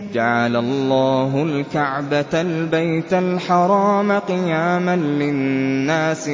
۞ جَعَلَ اللَّهُ الْكَعْبَةَ الْبَيْتَ الْحَرَامَ قِيَامًا لِّلنَّاسِ